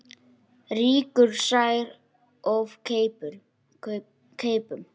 Rýkur sær of keipum.